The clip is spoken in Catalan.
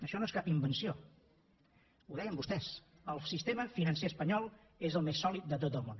això no és cap invenció ho deien vostès el sistema financer espanyol és el més sòlid de tot el món